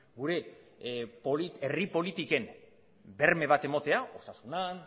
gure herri politiken berme bat ematea osasunean